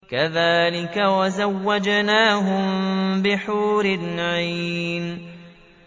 كَذَٰلِكَ وَزَوَّجْنَاهُم بِحُورٍ عِينٍ